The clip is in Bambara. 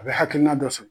A bɛ hakilina dɔ sɔrɔ